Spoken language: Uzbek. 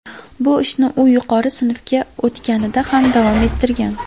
Bu ishni u yuqori sinfga o‘tganida ham davom ettirgan.